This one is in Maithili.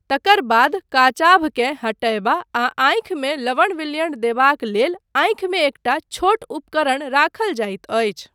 तकर बाद, काचाभकेँ हटयबा आ आँखिमे लवण विलयण देबाक लेल आँखिमे एकटा छोट उपकरण राखल जाइत अछि ।